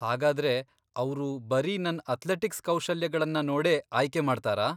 ಹಾಗಾದ್ರೆ ಅವ್ರು ಬರೀ ನನ್ ಅಥ್ಲೆಟಿಕ್ಸ್ ಕೌಶಲ್ಯಗಳ್ನ ನೋಡೇ ಆಯ್ಕೆ ಮಾಡ್ತಾರಾ?